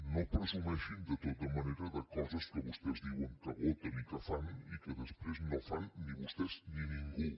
no presumeixin de tota manera de coses que vostès diuen que voten i que fan i que després no fan ni vostès ni ningú